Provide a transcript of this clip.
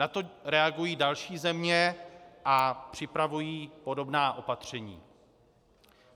Na to reagují další země a připravují podobná opatření.